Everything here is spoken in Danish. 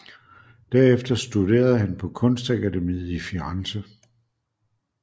Derefter studerede han på kunstakademiet i Firenze